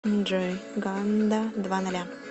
джой ганда два ноля